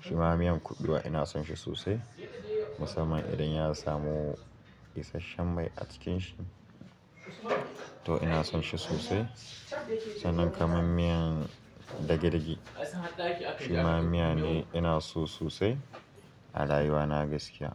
shima miyan kuɓewa ina son shi sosai musamman idan ya samu isasshen mai a cikin shi toh ina son shi sosai. Sannan kaman miyan dage-dage shima miya ne ina so sosai a rayuwa na gaskiya.